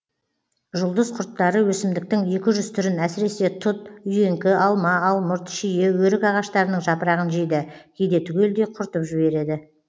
жұлдыз құрттары өсімдіктің екі жүз түрін әсіресе тұт үйеңкі алма алмұрт шие өрік ағаштарының жапырағын жейді кейде түгелдей құртып жібереді